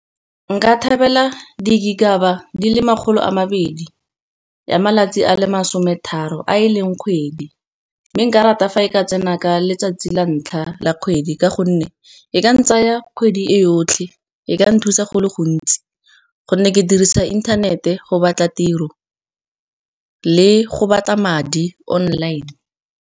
Nka thabela di le makgolo a mabedi, ya malatsi a le masome tharo a e leng kgwedi. Mme nka rata fa e ka tsena ka letsatsi la ntlha la kgwedi, ka gonne e ka tsaya kgwedi yotlhe. E ka nthusa go le gontsi, gonne ke dirisa inthanete go batla tiro le go batla madi online.